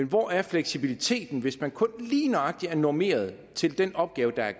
hvor er fleksibiliteten så hvis man kun lige nøjagtig er normeret til den opgave der er